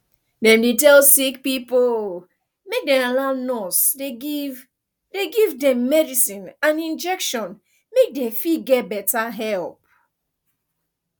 dem dey tell sick pipo make dem allow nurse dey give dey give dem medicine and injection make dey fit get better help